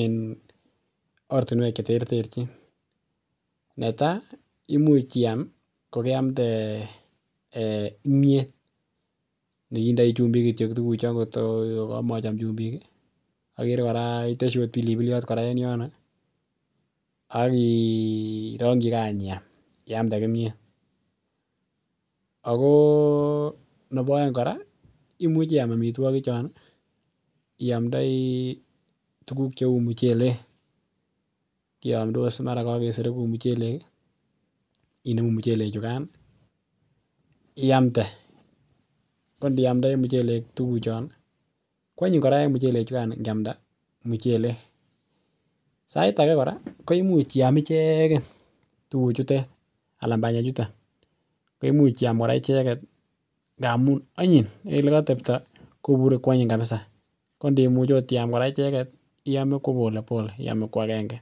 en ortinwek cheterterchin netai imuch iam ko keamde eh imiet neindoi chumbik kityok tukuchon kotko komochom chumbik kii okere Koraa iteshi ot pilipiliot en yono ak kii ronkigee anch iam iamde kimiet. Akoo nebo oeng koraa imuche I am omitwokik chon iomdoi tukuk cheu muchelek, kiomdos mara kokesorogun muchelek kii inemu muchelek chukan nii iamde ko ndiamdoi muchelek tukuk chon nii kwonyiny Koraa en muchelek chukan nikama muchelek. Sait age koraa ko imuch iam icheken tukuk chutet alan panyek chuton ko imuch I am Koraa icheket ngamun onyin en olekotepto kobure kwonyiny kabisa, kondimuch okot iam Koraa icheket tii iome ko polepole iome kwagenge.